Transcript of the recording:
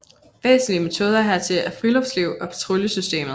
Væsentlige metoder hertil er friluftsliv og patruljesystemet